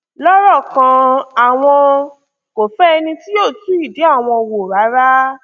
lọrọ kan àwọn kò fẹ ẹni tí yóò tú ìdí àwọn wò rárá